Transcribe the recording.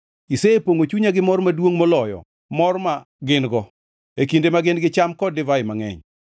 Isepongʼo chunya gi mor maduongʼ moloyo mor ma gin-go e kinde ma gin-gi cham kod divai mangʼeny.